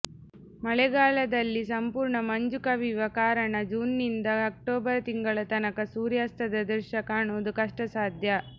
ಮಳೆಗಾಲದಲ್ಲಿ ಸಂಪೂರ್ಣ ಮಂಜು ಕವಿಯುವ ಕಾರಣ ಜೂನ್ನಿಂದ ಅಕ್ಟೋಬರ್ ತಿಂಗಳ ತನಕ ಸೂರ್ಯಾಸ್ತದ ದೃಶ್ಯ ಕಾಣುವುದು ಕಷ್ಟಸಾಧ್ಯ